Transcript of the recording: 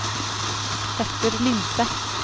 Petter Lindseth